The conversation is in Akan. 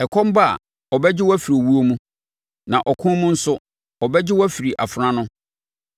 Ɛkɔm ba a, ɔbɛgye wo afiri owuo mu, na ɔko mu nso, ɔbɛgye wo afiri afena ano.